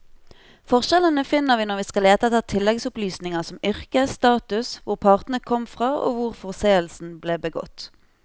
Forskjellene finner vi når vi skal lete etter tilleggsopplysninger som yrke, status, hvor partene kom fra og hvor forseelsen ble begått.